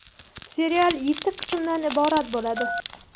Serial yetti qismdan iborat bo‘ladi.